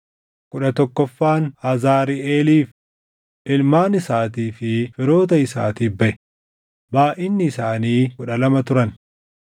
kudha tokkoffaan Azariʼeeliif, // ilmaan isaatii fi firoota isaatiif baʼe; // baayʼinni isaanii kudha lama turan